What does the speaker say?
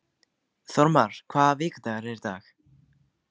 Þórmar, hvaða vikudagur er í dag?